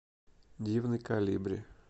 дивный колибри